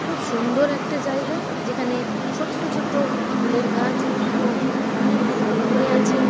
খুব সুন্দর একটা জায়গা। যেখানে ছোট্ট ছোট্ট ফুলের গাছ এবং অনেক ফুল ধরে আছে।